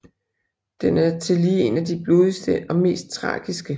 Den er tillige en af de blodigste og mest tragiske